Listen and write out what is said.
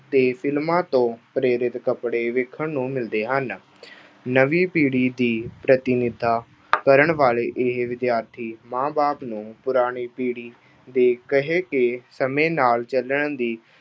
ਤੇ ਫ਼ਿਲਮਾਂ ਤੋਂ ਪ੍ਰੇਰਿਤ ਕੱਪੜੇ ਵੇਖਣ ਨੂੰ ਮਿਲਦੇ ਹਨ। ਨਵੀਂ ਪੀੜ੍ਹੀ ਦੀ ਪ੍ਰਤੀਨਿਧਤਾ ਕਰਨ ਵਾਲੇ ਇਹ ਵਿਦਿਆਰਥੀ, ਮਾਂ-ਬਾਪ ਨੂੰ ਪੁਰਾਣੀ ਪੀੜ੍ਹੀ ਦੇ ਕਹਿ ਕੇ ਸਮੇਂ ਨਾਲ ਚੱਲਣ ਦੀ